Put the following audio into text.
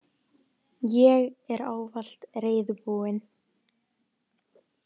Ég er ávallt reiðubúin.